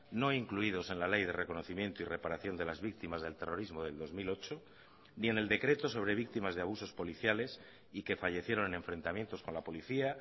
no incluidos en la ley de reconocimiento y reparación de las víctimas del terrorismo del dos mil ocho ni en el decreto sobre víctimas de abusos policiales y que fallecieron en enfrentamientos con la policía